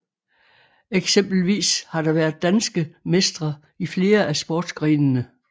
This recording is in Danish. Eksempelvis har der været danske mestre i flere af sportsgrenene